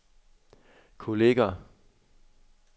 kolleger